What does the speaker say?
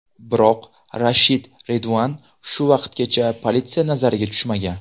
Biroq Rashid Reduan shu vaqtgacha politsiya nazariga tushmagan.